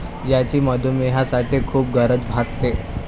याची मधुमेह्यांसाठी खूप गरज भासते.